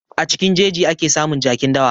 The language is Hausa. A cikin jeji ake samun jakin dawa.